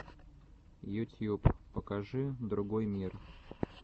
ютьюб покажи другой мир